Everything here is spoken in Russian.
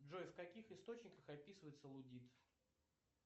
джой в каких источниках описывается луддит